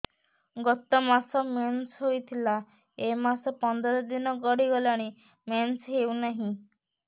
ଗତ ମାସ ମେନ୍ସ ହେଇଥିଲା ଏ ମାସ ପନ୍ଦର ଦିନ ଗଡିଗଲାଣି ମେନ୍ସ ହେଉନାହିଁ